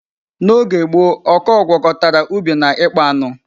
N'oge gboo ọkọọ gwkọtara ubi na ịkpa anụ.